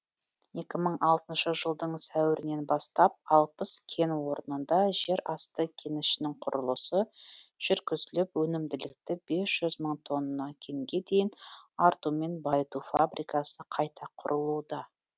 екі мың алтыншы жылдың сәуірінен бастап алпыс кен орнында жер асты кенішінің құрылысы жүргізіліп өнімділікті бес жүз мың тонна кенге дейін артумен байыту фабрикасы қайта құрылуда